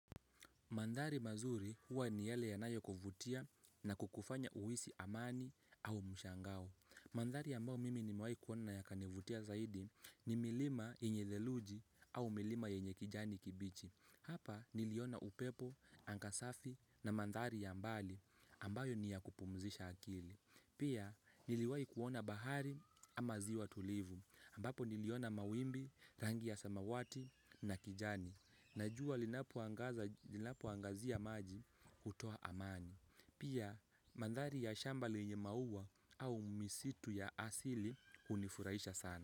Mandhari mazuri huwa ni yale yanayokuvutia na kukufanya uhisi amani au mshangao. Mandhari ambao mimi nimewahi kuona yakanivutia zaidi ni milima yenye theluji au milima yenye kijani kibichi. Hapa niliona upepo, anga safi na mandhari ya mbali ambayo ni ya kupumzisha akili. Pia niliwahi kuona bahari ama ziwa tulivu ambapo niliona mawimbi, rangi ya samawati na kijani. Na jua linapoangazia maji hutoa amani. Pia mandhari ya shamba lenye maua au misitu ya asili hunifurahisha sana.